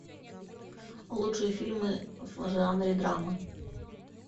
лучшие фильмы в жанре драмы